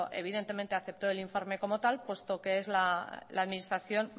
evidentemente aceptó el informe como tal puesto que es la administración